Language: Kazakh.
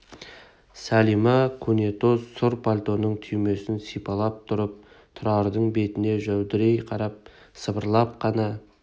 сәлима көнетоз сұр пальтоның түймесін сипалап тұрып тұрардың бетіне жәудірей қарап сыбырлап қана